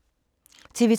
TV 2